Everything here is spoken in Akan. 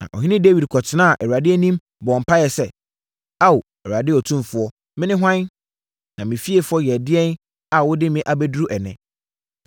Na ɔhene Dawid kɔtenaa Awurade anim bɔɔ mpaeɛ sɛ, “Ao, Awurade Otumfoɔ, mene hwan, na me fiefoɔ yɛ ɛdeɛn a wode me abɛduru ɛnnɛ?